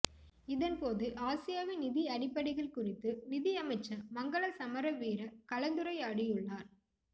இதன்போது ஆசியாவின் நிதி அடிப்படைகள் குறித்து நிதி அமைச்சர் மங்கள சமரவீர கலந்துரையாடியுள்ளார்